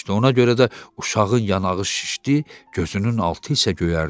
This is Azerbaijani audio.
Ona görə də uşağın yanağı şişdi, gözünün altı isə göyərdi.